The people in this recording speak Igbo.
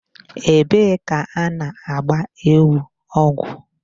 Ebee ka a na-gba ewu ọgwụ?